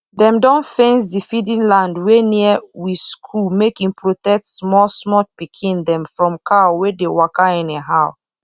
dem don fence d feeding land wey near we skool make e protect small small pikin dem from cow wey dey waka anyhow